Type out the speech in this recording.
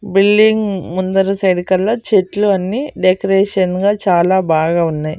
Building ముందర side కల్ల చెట్లు అన్ని డెకరేషన్ గా చాలా బాగా ఉన్నాయ్.